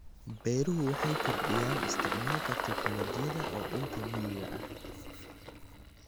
Beeruhu waxay kordhiyaan isticmaalka tignoolajiyada ee dhulka miyiga ah.